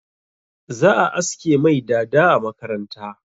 Za a aske mai dada a makaranta.